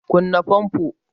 kunno fanfo!